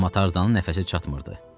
Amma Tarzanın nəfəsi çatmırdı.